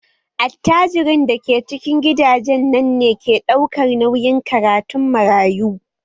Attajirin da ke cikin gidajen nan ne ke ɗaukar nauyin karatun marayu